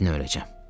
Tezdən öləcəm.